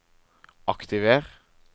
aktiver